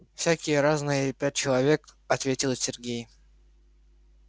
всякие разные пять человек ответил сергей